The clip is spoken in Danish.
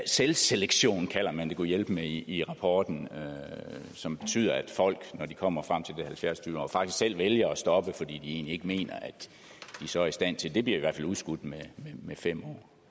selvselektion kalder man det gudhjælpemig i i rapporten som betyder at folk når de kommer frem til det halvfjerds år faktisk selv vælger at stoppe fordi de egentlig ikke mener at de så er i stand til det det bliver i hvert fald udskudt med fem år